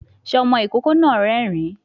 Sé ọmọ ìkókó náà rérìn-ín?